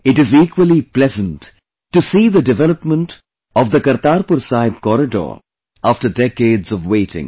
It is equally pleasant to see the development of the Kartarpur Sahib Corridor after decades of waiting